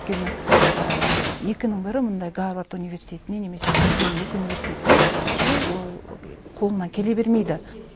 өйткені екінің бірі мындай гарвард университетіне немесе бірден екі университетке түсу ол қолынан келе бермейді